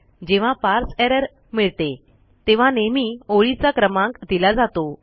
जेव्हा parse error मिळते तेव्हा नेहमी ओळीचा क्रमांक दिला जातो